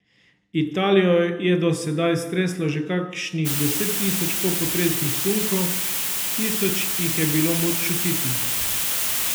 Italijo je do sedaj streslo že kakšnih deset tisoč popotresnih sunkov, tisoč jih je bilo moč čutiti.